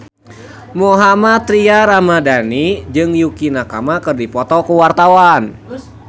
Mohammad Tria Ramadhani jeung Yukie Nakama keur dipoto ku wartawan